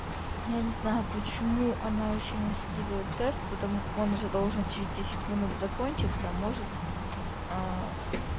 я не знаю почему она ещё не скидывает тест потом он же должен через десять минут закончится может